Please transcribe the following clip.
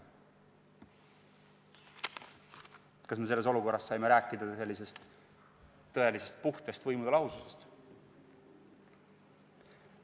Kas me sellises olukorras saime rääkida tõelisest puhtast võimude lahusest?